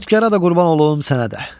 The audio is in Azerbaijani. Xotkəra da qurban olum, sənə də.